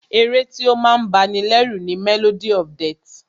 Ẹ̀ré tí o máa ń bá ní lẹ́rù ni "Melody of death"